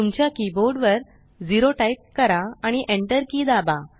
तुमच्या कीबोर्ड वर 0 टाइप करा आणि enter की दाबा